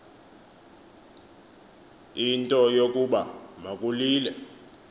into yokuba makulile